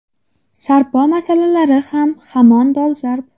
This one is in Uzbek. Sarpo masalasi ham hamon dolzarb.